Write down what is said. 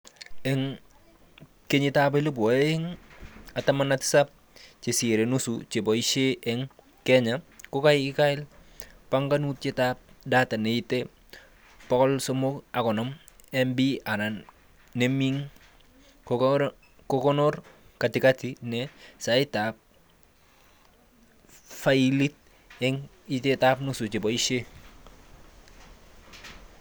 Eng 2017 chesire nusu cheboishe eng Kenya kokial banganutietab 'data' neite 350MB anan neming, kokonor katikati ne saisitab failit eng itatab nusu cheboishe